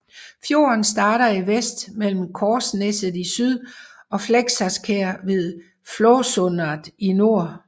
Fjorden starter i vest mellem Korsneset i syd og Flesaskjer ved Flåsåsundet i nord